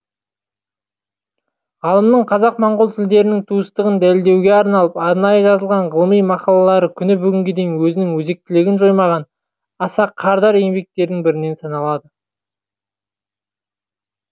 ғалымның қазақ моңғол тілдерінің туыстығын дәлелдеуге арналып арнайы жазылған ғылыми мақалалары күні бүгінге дейін өзінің өзектілігін жоймаған аса қардар еңбектердің бірінен саналады